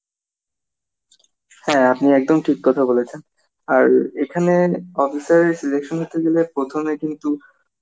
হ্যাঁ আপনি একদম ঠিক কথা বলেছেন, আর এখানে officer এর selection হতে গেলে প্রথমে কিন্তু